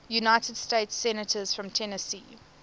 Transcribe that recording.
united states senators from tennessee